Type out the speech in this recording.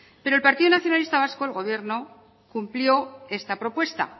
pero el partido nacionalista vasco el gobierno cumplió esta propuesta